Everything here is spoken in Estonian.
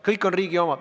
Kõik on riigi oma!